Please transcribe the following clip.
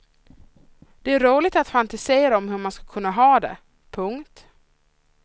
Det är roligt att fantisera om hur man skulle kunna ha det. punkt